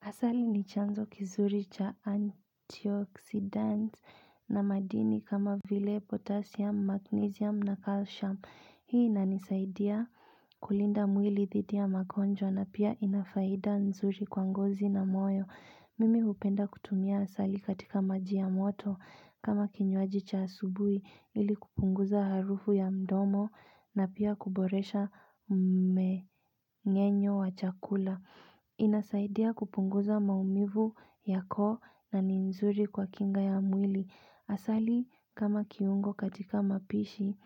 Asali ni chanzo kizuri cha antioxidant na madini kama vile potassium, magnesium na calcium. Hii inanisaidia kulinda mwili dhidi ya magonjwa na pia ina faida nzuri kwa ngozi na moyo. Mimi hupenda kutumia asali katika maji ya moto kama kinywaji cha asubui ili kupunguza harufu ya mdomo na pia kuboresha mme ngenyo wa chakula. Inasaidia kupunguza maumivu ya koo na ni nzuri kwa kinga ya mwili Asali kama kiungo katika mapishi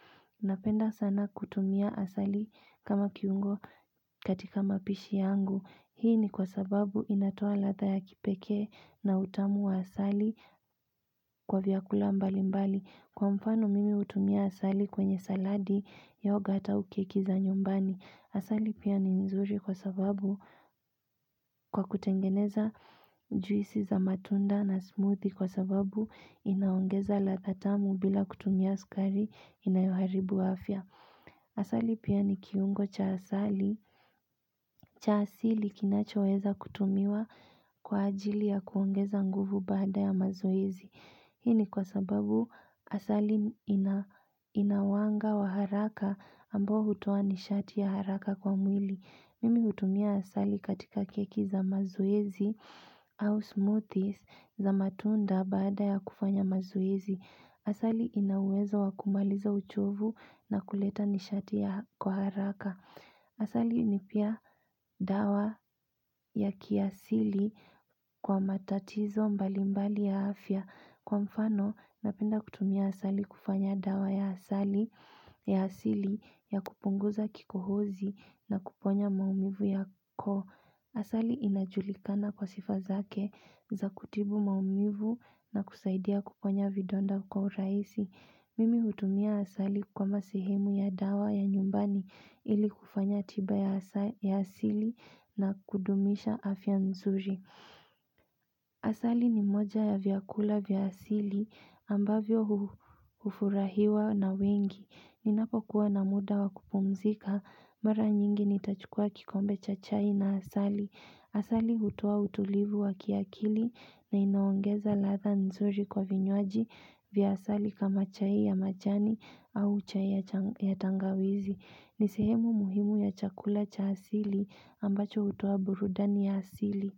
Napenda sana kutumia asali kama kiungo katika mapishi yangu Hii ni kwa sababu inatoa ladha ya kipekee na utamu wa asali kwa vyakula mbali mbali Kwa mfano mimi hutumia asali kwenye saladi yogat au keki za nyumbani Asali pia ni nzuri kwa sababu kwa kutengeneza juisi za matunda na smoothie kwa sababu inaongeza ladha tamu bila kutumia askari inayoharibu afya. Asali pia ni kiungo cha asali. Cha asili kinachoweza kutumiwa kwa ajili ya kuongeza nguvu baada ya mazoezi. Hii ni kwa sababu asali ina wanga wa haraka ambao hutoa nishati ya haraka kwa mwili. Mimi hutumia asali katika keki za mazoezi au smoothies za matunda baada ya kufanya mazoezi. Asali ina uwezo wa kumaliza uchovu na kuleta nishati ya kwa haraka. Asali ni pia dawa ya kiasili kwa matatizo mbalimbali ya afya. Kwa mfano, napenda kutumia asali kufanya dawa ya asali ya asili ya kupunguza kikohozi na kuponya maumivu ya koo. Asali inajulikana kwa sifa zake za kutibu maumivu na kusaidia kuponya vidonda kwa urahisi. Mimi hutumia asali kama sehemu ya dawa ya nyumbani ili kufanya tiba ya asili na kudumisha afya nzuri. Asali ni moja ya vyakula vya asili ambavyo hufurahiwa na wengi. Ninapokuwa na muda wa kupumzika mara nyingi nitachukua kikombe cha chai na asali. Asali hutoa utulivu wa kiakili na inaongeza ladha nzuri kwa vinywaji vya asali kama chai ya majani au chai ya tangawizi. Ni sehemu muhimu ya chakula cha asili ambacho hutua burudani ya asili.